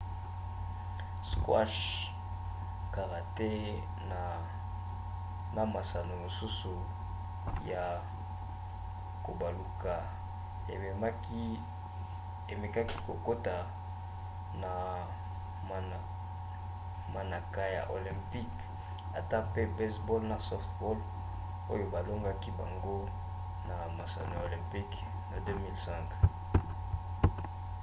squash karaté na masano mosusu ya kobaluka emekaki kokota na manaka ya olympique ata mpe baseball na softball oyo balongolaki bango na masano ya olympique na 2005